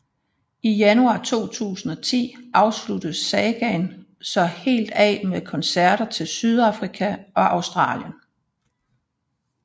I januar 2010 sluttes sagaen så helt af med koncerter til Sydafrika og Australien